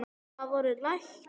Það voru læknar.